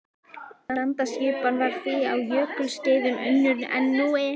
Landaskipan var því á jökulskeiðum önnur en nú er.